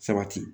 Sabati